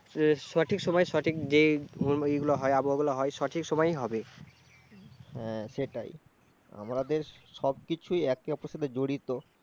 এর সঠিক সময় সঠিক যে ই গুলা হয়, আবহাওয়াগুলো হয়, সঠিক সময় হবে। হ্যাঁ সেটাই, আমাদের সব কিছুই একে অপরের সাথে জড়িত।